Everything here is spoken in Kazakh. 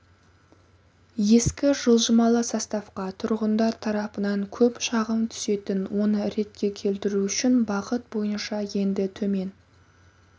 ескі жылжымалы составқа тұрғындар тарапынан көп шағым түсетін оны ретке келтіру үшін бағыт бойынша енді төмен